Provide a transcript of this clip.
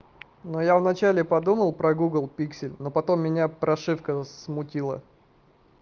но я вначале подумал про гугл пиксель но потом меня прошивка смутила